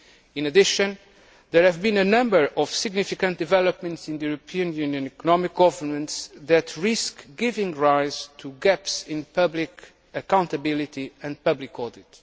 In addition, there have been a number of significant developments in European Union economic governance that risk giving rise to gaps in public accountability and public audit.